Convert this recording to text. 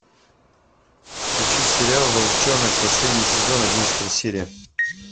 включи сериал волчонок последний сезон одиннадцатая серия